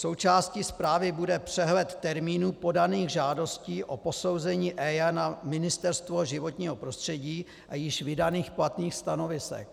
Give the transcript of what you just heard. Součástí zprávy bude přehled termínů podaných žádostí o posouzení EIA na Ministerstvo životního prostředí a již vydaných platných stanovisek.